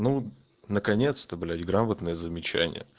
ну наконец-то блять граммотное замечание